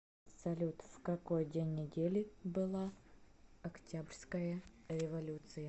салют в какой день недели была октябрьская революция